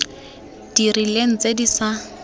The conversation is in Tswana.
di rileng tse di sa